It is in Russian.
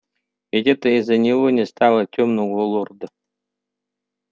ведь это из-за него не стало тёмного лорда